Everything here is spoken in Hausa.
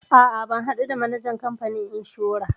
A'a ban haɗu da manajan kamfanin inshora.